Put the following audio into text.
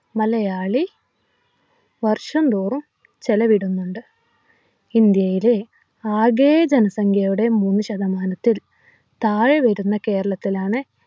മലയാളി വർഷം തോറും ചെലവിടുന്നുണ്ട് ഇന്ത്യയിലെ ആകെ ജനസംഖ്യയുടെ മൂന്നു ശതമാനത്തിൽ താഴെ വരുന്ന കേരളത്തിലാണ്